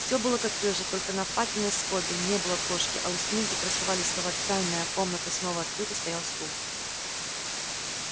все было как прежде только на факельной скобе не было кошки а у стены где красовались слова тайная комната снова открыта стоял стул